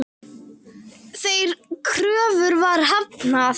Þeirri kröfu var hafnað.